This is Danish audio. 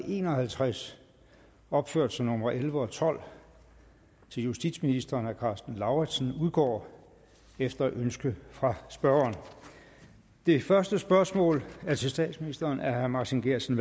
en og halvtreds opført som nummer elleve og tolv til justitsministeren af karsten lauritzen udgår efter ønske fra spørgeren det første spørgsmål er til statsministeren af herre martin geertsen